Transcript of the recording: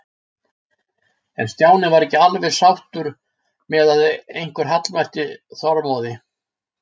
En Stjáni var ekki alveg sáttur með að einhver hallmælti Þormóði.